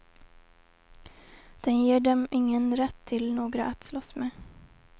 Den ger dem ingen rätt till några att slåss med.